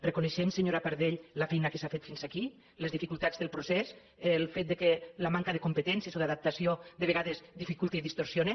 reconeixem senyora pardell la feina que s’ha fet fins aquí les dificultats del procés el fet que la manca de competències o d’adaptació de vegades dificulta i distorsiona